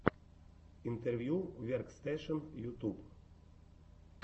интервью веркстэшен ютуб